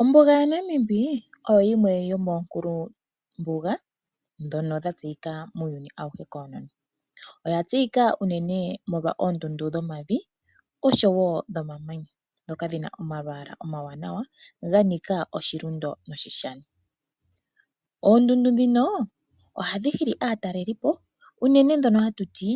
Ombuga yaNamib oyo yimwe yomonkulu mbuga dhono dha tseyika muuyuni awuhe konono. Oya tseyika unene molwa oondundu dhomavi oshowo dhomamanya dhoka dhina omalwala omawanawa ganika oshilundo noshi shani. Oondundu dhino ohadhi hili aatalelipo unene dhono hatu ti